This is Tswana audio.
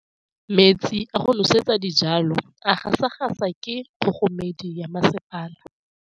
Metsi a go nosetsa dijalo a gasa gasa ke kgogomedi ya masepala.